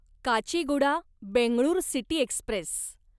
Kacheguda Bengaluru city Express